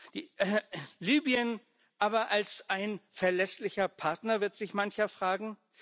Aber Libyen als ein verlässlicher Partner, wird sich mancher fragen?